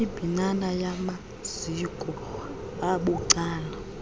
imbinana yamaziko abucala